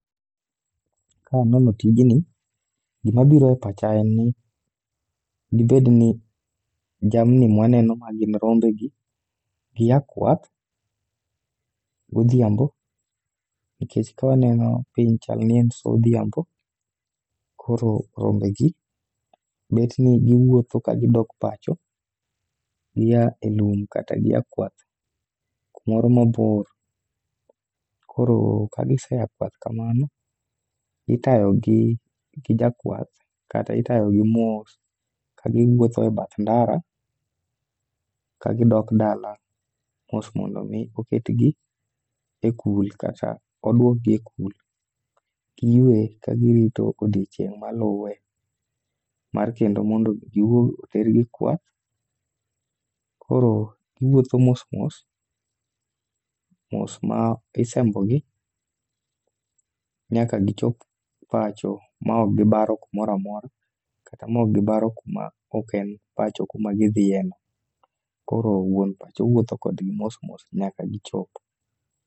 Kaneno tijni gimabiro e pacha en ni ,dibed ni jamni mwaneno ma gin rombegi. gia kwath godhiambo, nikech kawa neno piny, chal ni en sa odhiambo. Koro rombegi, bet ni giwuotho kagidok pacho, gia e lum kata gia kwath moro mabor. Koro kagisea kwath kamano, itayogi gi jakwath kata itayogi mos kagiwuotho e bath ndara kagidok dala mos mondo omi oketgi e kul kata odwok gi e kul. Giyuwe kagirito odiochieng' maluwe ,mar kendo mondo otergi kwath. koro giwuotho mos mos, mos ma isembogi nyaka gichop pacho ma ok gibaro kumora mora kata ma ok gibaro kuma ok en pacho kuma gidhieno. Koro wuon pacho wuotho kodgi mos mos nyaka gichop.